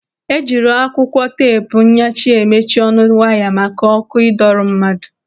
Ejiri akwụkwọ teepu nyachi emechi ọnụ waya maka ọkụ ịdọro mmadụ.